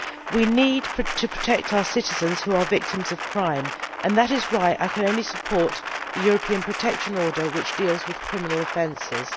We need to protect our citizens who are victims of crime, and that is why I can only support the European Protection Order, which deals with criminal offences.